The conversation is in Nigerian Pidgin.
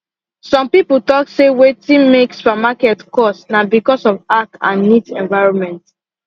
some people talk say wetin make supermarket cost na because of ac and neat environment